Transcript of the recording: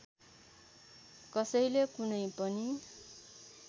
कसैले कुनै पनि